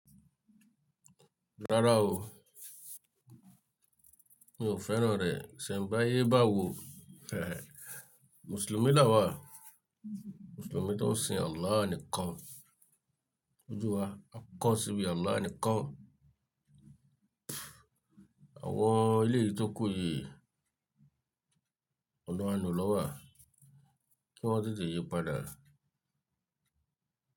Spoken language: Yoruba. Rárá o, mi ò fẹ́ràn rẹ̀. Isenbayé báwo. Mùsùlùmí là wà, Mùsùlùmí tó ń sin Allah nìkan. Ojú wa á kán sí ibi Allah nìkan. Àwọn eleyi tí ó kù yí, ọlọ́run lona wa à kí wọ́n tètè yí padà.